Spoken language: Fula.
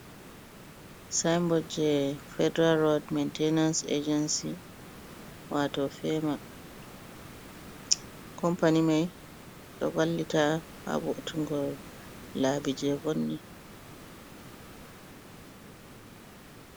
Saimbot je Federal rod mentenans agenci wato fema, compani mai ɗo vallita ha Votungo labi je vonni.